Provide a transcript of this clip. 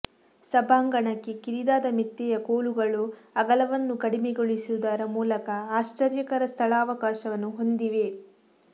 ಸಭಾಂಗಣಕ್ಕೆ ಕಿರಿದಾದ ಮೆತ್ತೆಯ ಕೋಲುಗಳು ಅಗಲವನ್ನು ಕಡಿಮೆಗೊಳಿಸುವುದರ ಮೂಲಕ ಆಶ್ಚರ್ಯಕರ ಸ್ಥಳಾವಕಾಶವನ್ನು ಹೊಂದಿವೆ